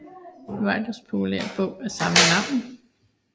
Whites populære bog af samme navn